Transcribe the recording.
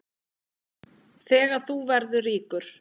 Þegar þú verður ríkur?